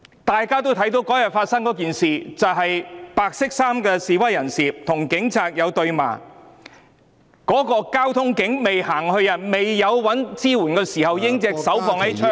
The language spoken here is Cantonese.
大家也看到，當天有一名白衫示威人士與警察對罵，然後該名交通警員在未尋求支援前，已經把手放在手槍上......